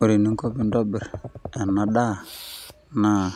Ore eninko pintobir enadaa, naa